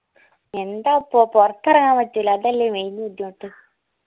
യെന്താപ്പൊ പൊർത്ത് എറങ്ങാൻ പറ്റൂല അതല്ലേ main ബുദ്ധിമുട്ട്